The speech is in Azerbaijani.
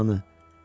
Anam, anı.